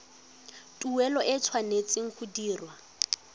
tuelo e tshwanetse go dirwa